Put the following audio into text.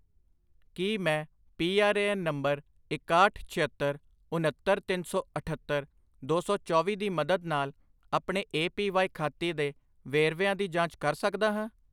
ਕੀ ਮੈਂ P R A N ਨੰਬਰ ਇਕਾਹਠ, ਛਿਅੱਤਰ, ਉਨੱਤਰ, ਤਿੰਨ ਸੌ ਅਠੱਤਰ, ਦੋ ਸੌ ਚੌਵੀ ਦੀ ਮਦਦ ਨਾਲ ਆਪਣੇ ਏ ਪੀ ਵਾਈ ਖਾਤੇ ਦੇ ਵੇਰਵਿਆਂ ਦੀ ਜਾਂਚ ਕਰ ਸਕਦਾ ਹਾਂ?